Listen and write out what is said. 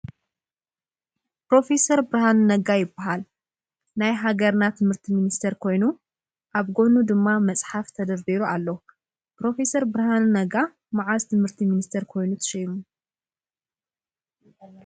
ፕረፌሰር ብርሃኑ ነጋ ይባሃል። ናይ ሃገርና ትምህርቲ ሚኒስተር ኮይኑ ኣብ ጎድኑ ድማ መፅሓፍ ተደርዲሩ አሎ ። ፕረፌሰር ብርሃኑ ነጋ መዓዝ ትምህርቲ ምኒስተር ኮይኑ ተሸይሙ?